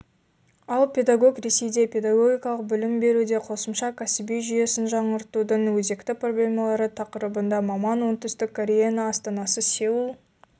ал педагог ресейде педагогикалық білім беруде қосымша кәсіби жүйесін жаңғыртудың өзекті проблемаларытақырыбында маман оңтүстік кореяның астанасы сеул